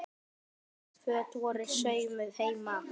Flest föt voru saumuð heima.